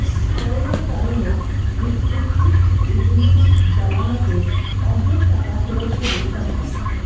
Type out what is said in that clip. করোনার কারণে রিক্রুটিং এজেন্সির জামানতের অর্ধেক টাকা ফেরত দেবে সরকার